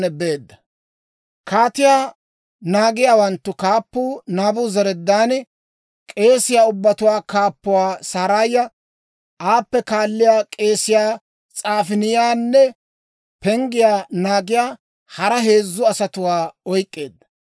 Kaatiyaa naagiyaawanttu kaappuu Naabuzaradaani k'eesiyaa ubbatuwaa kaappuwaa Saraaya, aappe kaalliyaa k'eesiyaa S'afaaniyaanne penggiyaa naagiyaa hara heezzu asatuwaa oyk'k'eedda.